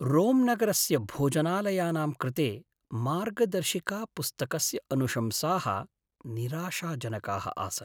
रोम्नगरस्य भोजनालयानां कृते मार्गदर्शिकापुस्तकस्य अनुशंसाः निराशाजनकाः आसन्।